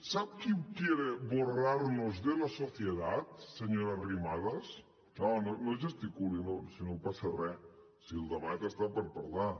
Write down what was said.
sap qui quiere borrarnos de la sociedadsenyora arrimadas no no gesticuli si no passa re si el debat hi és per parlar